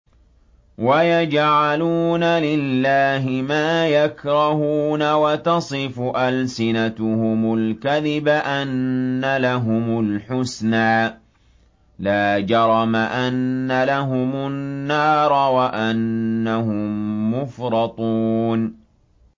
وَيَجْعَلُونَ لِلَّهِ مَا يَكْرَهُونَ وَتَصِفُ أَلْسِنَتُهُمُ الْكَذِبَ أَنَّ لَهُمُ الْحُسْنَىٰ ۖ لَا جَرَمَ أَنَّ لَهُمُ النَّارَ وَأَنَّهُم مُّفْرَطُونَ